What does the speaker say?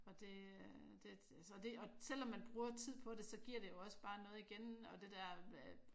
Og det øh så det og selvom man bruger tid på det så giver det jo også bare noget igen og det dér